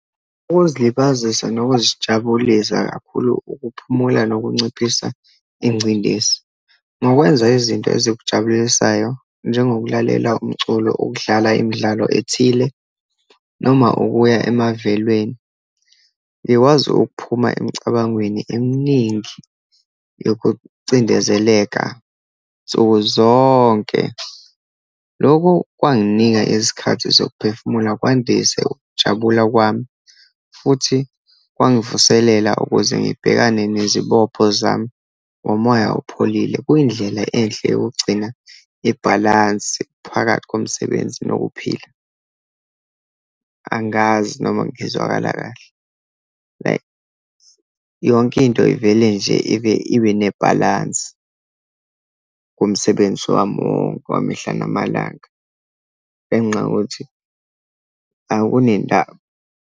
Ukuzilibazisa nokuzijabulisa, kakhulu ukuphumula nokunciphisa ingcindezi ngokwenza izinto ezokujabulisayo, njengokulalela umculo, ukudlala imidlalo ethile, noma ukuya emavelweni. Ngikwazi ukuphuma emicabangweni eminingi yokucindezeleka nsukuzonke. Loko kwanginika isikhathi sokuphefumula, kwandise ukujabula kwami, futhi kwangivuselela ukuze ngibhekane nezibopho zami ngomoya apholile. Kuyindlela enhle yokugcina ibhalansi phakathi komsebenzi nokuphila. Angazi noma ngizwakala kahle. Like, yonke into ivele nje ibe, ibe nebhalansi kumsebenzi wami wonke wamihla namalanga ngenxa yokuthi akunendaba.